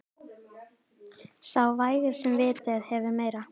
Sá vægir sem vitið hefur meira.